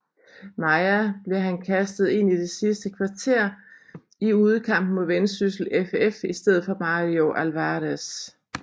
Maia blev han kastet ind i det sidste kvarter i udekampen mod Vendsyssel FF i stedet for Mario Alvarez